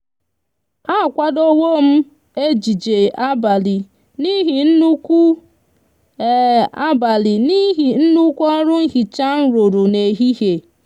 a kwadowom ejije abali nihi nnukwu abali nihi nnukwu oru nhicha nruru n'ehihie